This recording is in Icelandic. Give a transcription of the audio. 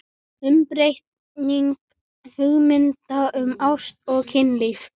UMBREYTING HUGMYNDA UM ÁST OG KYNLÍF